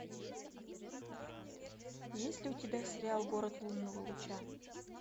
есть ли у тебя сериал город лунного луча